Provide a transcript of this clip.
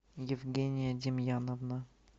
евгения демьяновна